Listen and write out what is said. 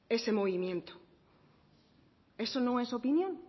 ese movimiento eso no es opinión